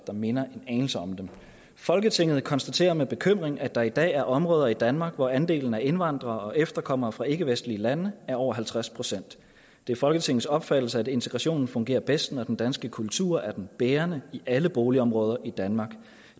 der minder en anelse om det folketinget konstaterer med bekymring at der i dag er områder i danmark hvor andelen af indvandrere og efterkommere fra ikkevestlige lande er over halvtreds procent det er folketingets opfattelse at integrationen fungerer bedst når den danske kultur er den bærende i alle boligområder i danmark